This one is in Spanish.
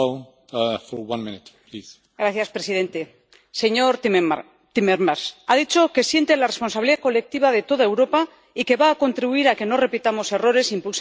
Señor presidente señor Timmermans, ha dicho que siente la responsabilidad colectiva de toda Europa y que va a contribuir a que no repitamos errores impulsando la memoria democrática.